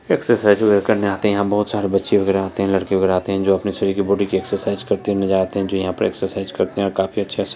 exercise वगैरा करने आते हैं यहाँ बहुत सारे बच्चे वगैरा आते हैं लड़के वगैरा आते हैं जो अपने शरीर की बॉडी की एक्सरसाइज करते हुए नज़र आते हैं जो यहाँ पर एक्सरसाइज करते हैं और काफ़ी अच्छा से --